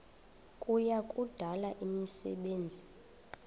kuya kudala imisebenzi